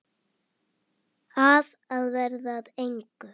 Af að verða að engu.